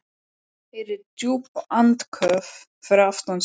Heyrir djúp andköf fyrir aftan sig.